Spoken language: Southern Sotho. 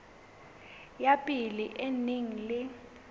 ya pele e neng e